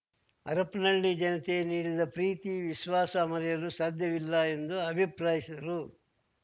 ಹರಪ್ಪನಹಳ್ಳಿ ಜನತೆ ನೀಡಿದ ಪ್ರೀತಿ ವಿಶ್ವಾಸ ಮರೆಯಲು ಸಾಧ್ಯವಿಲ್ಲ ಎಂದು ಅಭಿಪ್ರಾಯಿಸಿದರು